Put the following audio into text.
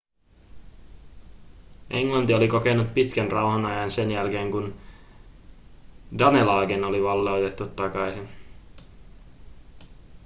englanti oli kokenut pitkän rauhanajan sen jälkeen kun danelagen oli valloitettu takaisin